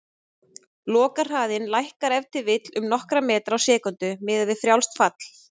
Lokahraðinn lækkar ef til vill um nokkra metra á sekúndu, miðað við frjálst fall.